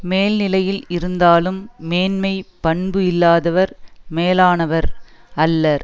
மேல்நிலையில் இருந்தாலும் மேன்மைப் பண்பு இல்லாதவர் மேலானவர் அல்லர்